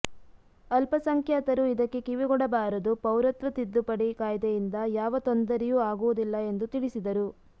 ಅಲ್ಪಸಂಖ್ಯಾತರು ಇದಕ್ಕೆ ಕಿವಿಗೊಡಬಾರದು ಪೌರತ್ವ ತಿದ್ದುಪಡಿ ಕಾಯ್ದೆಯಿಂದ ಯಾವ ತೊಂದರೆಯೂ ಆಗುವುದಿಲ್ಲ ಎಂದು ತಿಳಿಸಿದರು